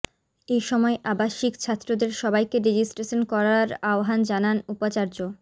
এসময় আাবসিক ছাত্রদের সবাইকে রেজিস্ট্রেশন করার আহ্বান জানান উপাচার্য